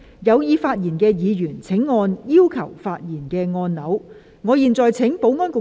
有意發言的議員請按"要求發言"按鈕。